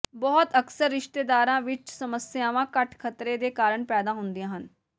ਬਹੁਤ ਅਕਸਰ ਰਿਸ਼ਤੇਦਾਰਾਂ ਵਿਚ ਸਮੱਸਿਆਵਾਂ ਘੱਟ ਖ਼ਤਰੇ ਦੇ ਕਾਰਨ ਪੈਦਾ ਹੁੰਦੀਆਂ ਹਨ